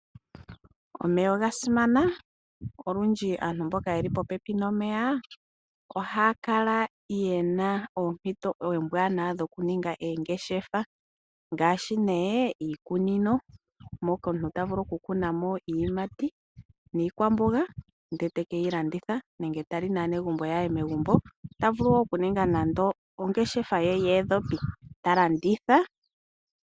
Omeya oga simana. Olundji aantu mboka ye li popepi nomeya ohaa kala ye na oompito oombwanawa nokuninga oongeshefa, ngaashi nee iikunino mono omuntu ta vulu okukuna mo iiyimati niikwamboga aka landithe nenge ta li naanegumbo lye megumbo. Ota vulu wo okuninga nande ongeshefa ye yoondhopi, e ta landitha.